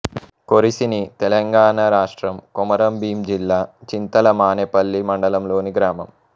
కొరిసిని తెలంగాణ రాష్ట్రం కొమరంభీం జిల్లా చింతల మానేపల్లి మండలంలోని గ్రామం